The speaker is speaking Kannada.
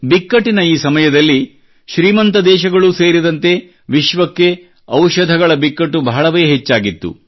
ಬಿಕ್ಕಟ್ಟಿನ ಈ ಸಮಯದಲ್ಲಿ ಶ್ರೀಮಂತ ದೇಶಗಳೂ ಸೇರಿದಂತೆ ವಿಶ್ವಕ್ಕೆ ಔಷಧಗಳ ಬಿಕ್ಕಟ್ಟು ಬಹಳವೇ ಹೆಚ್ಚಾಗಿತ್ತು